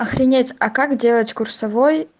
охренеть а как делать курсовой